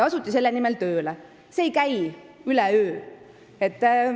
See ei käi üleöö.